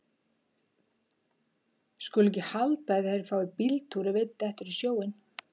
Skulu ekki halda að þeir fái bíltúr ef einn dettur í sjóinn.